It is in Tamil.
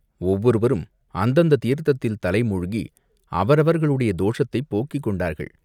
ஒவ்வொருவரும் அந்தந்த தீர்த்தத்தில் தலை மூழ்கி அவரவர்களுடைய தோஷத்தைப் போக்கிக் கொண்டார்கள்.